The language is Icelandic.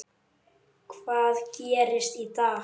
Hvað gerist í dag?